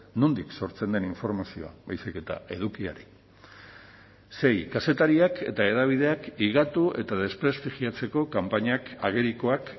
nondik sortzen den informazioa baizik eta edukiari sei kazetariak eta hedabideak higatu eta desprestigiatzeko kanpainak agerikoak